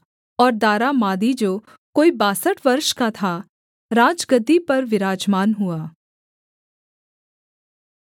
और दारा मादी जो कोई बासठ वर्ष का था राजगद्दी पर विराजमान हुआ